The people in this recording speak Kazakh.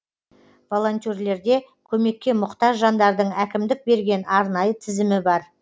волонтерлерде көмекке мұқтаж жандардың әкімдік берген арнайы тізімі бар